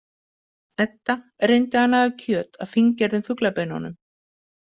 Edda reyndi að naga kjöt af fíngerðum fuglabeinunum.